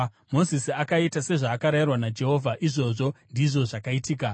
Mozisi akaita sezvaakarayirwa naJehovha, izvozvo ndizvo zvaakaita.